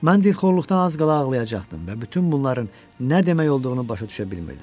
Mən dilxorluqdan az qala ağlayacaqdım və bütün bunların nə demək olduğunu başa düşə bilmirdim.